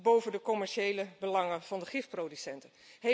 boven de commerciële belangen van de gifproducenten.